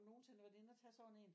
Nogensinde været inde og tage sådan en